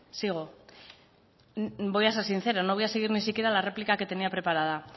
sigo voy a ser sincera no voy a seguir ni siquiera la réplica que tenía preparada